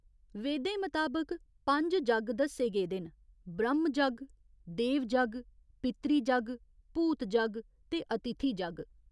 वेदें मताबक पंज जग्ग दस्से गेदे न ब्रह्‌म जग्ग, देव जग्ग, पितृ जग्ग, भूत जग्ग ते अतिथि जग्ग।